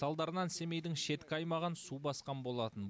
салдарынан семейдің шеткі аймағын су басқан болатын